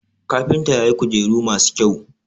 kafinta ya yi kujeru masu kyau